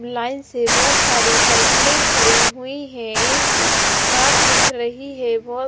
line से बहोत सारी साइकिलें खड़ी हुई हैं एक कार दिख रही है बहोत--